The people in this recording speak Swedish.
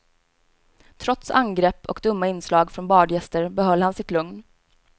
Trots angrepp och dumma inslag från badgäster behöll han sitt lugn.